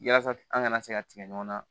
Yasa an kana se ka tigɛ ɲɔgɔn na